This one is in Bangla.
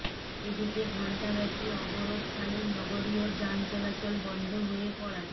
এদিকে ঘণ্টাব্যাপী অবরোধকালে নগরীর যান চলাচল বন্ধ হয়ে পড়ায়